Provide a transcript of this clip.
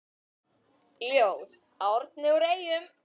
Ljóð: Árni úr Eyjum